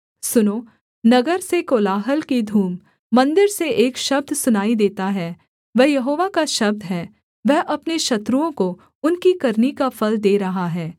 सुनो नगर से कोलाहल की धूम मन्दिर से एक शब्द सुनाई देता है वह यहोवा का शब्द है वह अपने शत्रुओं को उनकी करनी का फल दे रहा है